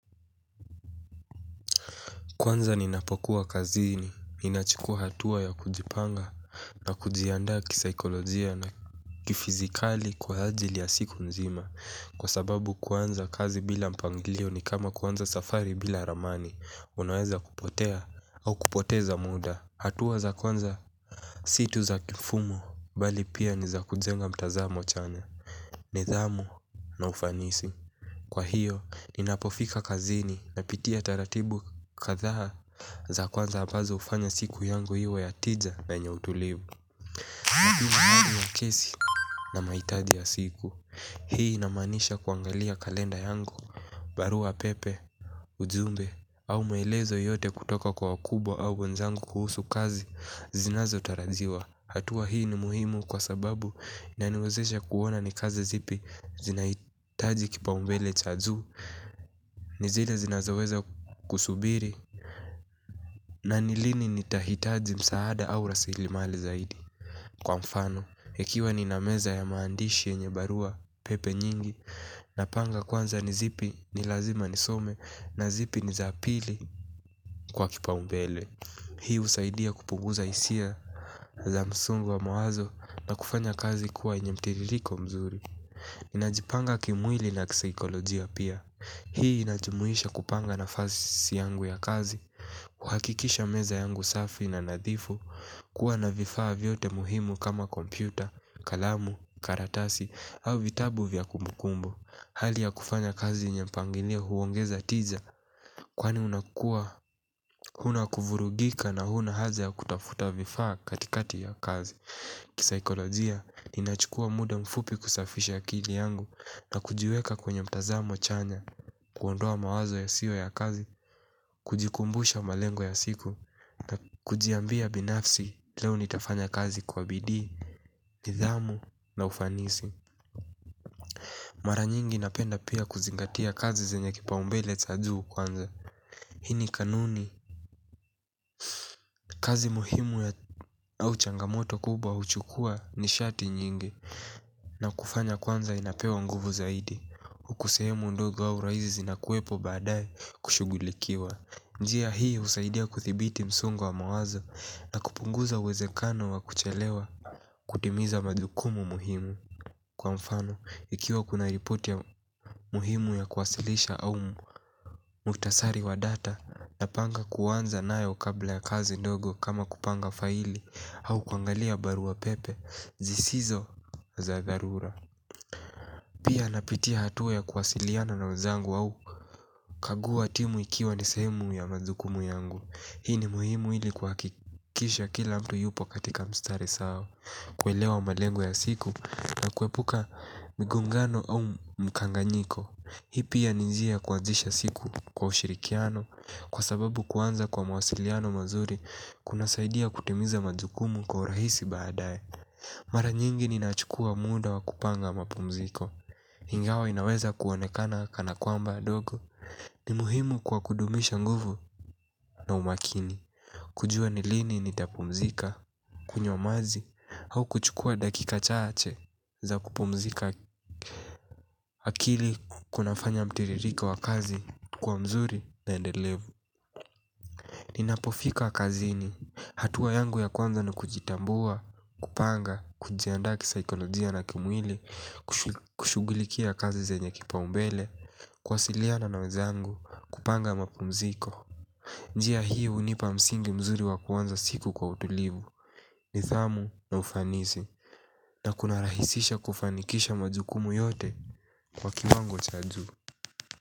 Kwanza ninapokuwa kazini, ninachukua hatua ya kujipanga na kujiandaa kisaikolojia na kifizikali kwa ajili ya siku nzima. Kwa sababu kuanza kazi bila mpangilio ni kama kuanza safari bila ramani, unaweza kupotea au kupoteza muda. Hatua za kwanza si tu za kifumo, bali pia ni za kujenga mtazamo chanya, nidhamu na ufanisi. Kwa hiyo, ninapofika kazini napitia taratibu kadhaa za kwanza ambazo hufanya siku yangu iwe ya tija na yenye utulivu. Hii ni hali ya kesi na mahitaji ya siku. Hii inamanisha kuangalia kalenda yangu baruapepe, ujumbe au maelezo yote kutoka kwa wakubwa au wenzangu kuhusu kazi zinazotarajiwa. Hatua hii ni muhimu kwa sababu inaniwezesha kuona ni kazi zipi zinahitaji kipa mbele cha juu. Ni zile zinazoweza kusubiri na ni lini nitahitaji msaada au raslimali zaidi. Kwa mfano, ikiwa nina meza ya maandishi yenye baruapepe nyingi napanga kwanza ni zipi ni lazima nisome na zipi ni za pili kwa kipaumbele. Hii husaidia kupunguza hisia za msongo wa mawazo na kufanya kazi kuwa yenye mtiririko mzuri. Najipanga kimwili na kisaikolojia pia. Hii inajimuisha kupanga nafasi yangu ya kazi kuhakikisha meza yangu safi na nadhifu kuwa na vifaa vyote muhimu kama kompyuta, kalamu, karatasi au vitabu vya kumbukumbu. Hali ya kufanya kazi yenye mpangilio huongeza tija, kwani unakua, huna kuvurugika na huna haja ya kutafuta vifaa katikati ya kazi. Kisaikolojia, ninachukua muda mfupi kusafisha akili yangu na kujiweka kwenye mtazamo chanya kuondoa mawazo yasiyo ya kazi kujikumbusha malengo ya siku na kujiambia binafsi leo nitafanya kazi kwa bidii. Nidhamu na ufanisi, mara nyingi napenda pia kuzingatia kazi zenye kipaumbele cha juu kwanza. Hii ni kanuni, kazi muhimu au changamoto kubwa huchukua nishati nyingi na kufanya kwanza inapewa nguvu zaidi huku sehemu ndogo wa rahisi zinakuepo baadaye kushugulikiwa. Njia hii husaidia kudhibiti msongo wa mawazo na kupunguza uwezekano wa kuchelewa. Kutimiza majukumu muhimu. Kwa mfano, ikiwa kuna ripoti muhimu ya kuwasilisha au muktasari wa data, napanga kuanza nayo kabla ya kazi ndogo kama kupanga faili au kuangalia baruapepe, zisizo za dharura pia napitia hatua ya kuwasiliana na wenzangu, au kukagua timu ikiwa ni sehemu ya majukumu yangu. Hii ni muhimu ili kuhakikisha kila mtu yuko katika mstari sawa. Kuelewa malengo ya siku na kuepuka migongano au mkanganyiko hi pia ni njia kuanzisha siku kwa ushirikiano. Kwa sababu kuanza kwa mawasiliano mazuri kunasaidia kutimiza majukumu kwa urahisi baadaye. Mara nyingi ni nachukua muda wa kupanga mapumziko. Ingawa inaweza kuonekana kanakwamba dogo ni muhimu kwa kudumisha nguvu na umakini. Kujua ni lini nitapumzika, kunywa maji au kuchukua dakika chache za kupumzika akili kunafanya mtiririko wa kazi kuwa mzuri na endelevu. Ninapofika kazini hatua yangu ya kwanza na kujitambua, kupanga, kujiaandaa kisaikolojia na kimwili, kushugulikia kazi zenye kipaumbele, kuwasiliana na wenzangu, kupanga mapumziko. Njia hii hunipa msingi mzuri wa kuanza siku kwa utulivu, nidhamu na ufanisi, na kunarahisisha kufanikisha majukumu yote kwa kiwango cha juu.